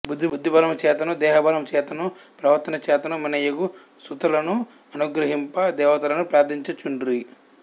బుద్ధిబలముచేతను దేహబలముచేతను ప్రవర్తనచేతను మిన్నయగు సుతులను అనుగ్రహింప దేవతలను ప్రార్థించుచుండిరి